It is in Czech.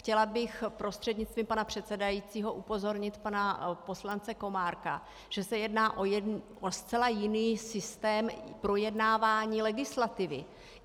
Chtěla bych prostřednictvím pana předsedajícího upozornit pana poslance Komárka, že se jedná o zcela jiný systém projednávání legislativy.